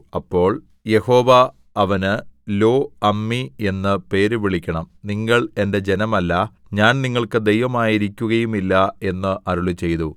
അപ്പോൾ യഹോവ അവന് ലോഅമ്മീ എന്ന് പേര് വിളിക്കണം നിങ്ങൾ എന്റെ ജനമല്ല ഞാൻ നിങ്ങൾക്ക് ദൈവമായിരിക്കുകയുമില്ല എന്ന് അരുളിച്ചെയ്തു